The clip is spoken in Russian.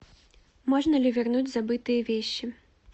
можно ли вернуть забытые вещи